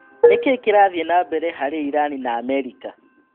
Nĩkĩĩ kĩrathiĩ nambere harĩ Irani na Amerika?